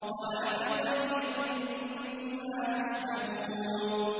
وَلَحْمِ طَيْرٍ مِّمَّا يَشْتَهُونَ